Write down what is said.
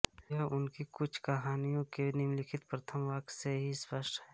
यह उनकी कुछ कहानियों के निम्नलिखित प्रथम वाक्य से ही स्पष्ट है